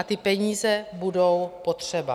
A ty peníze budou potřeba.